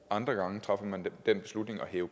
andre gange træffer man den beslutning at hæve